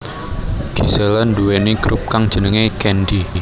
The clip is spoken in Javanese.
Gisela nduwèni grup kang jenengé Candy